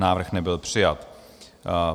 Návrh nebyl přijat.